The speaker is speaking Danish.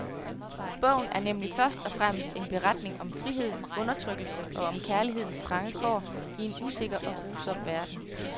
Bogen er nemlig først og fremmest en beretning om frihed, undertrykkelse og om kærlighedens trange kår i en usikker og grusom verden.